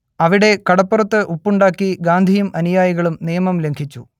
അവിടെ കടപ്പുറത്ത് ഉപ്പുണ്ടാക്കി ഗാന്ധിയും അനുയായികളും നിയമം ലംഘിച്ചു